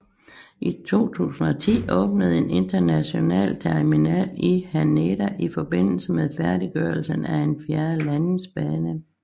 I 2010 åbnede en international terminal i Haneda i forbindelse med færdiggørelsen af en fjerde landingsbane